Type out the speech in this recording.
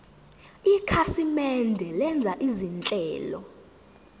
ikhasimende lenza izinhlelo